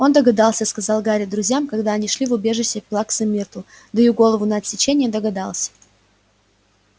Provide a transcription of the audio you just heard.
он догадался сказал гарри друзьям когда они шли в убежище плаксы миртл даю голову на отсечение догадался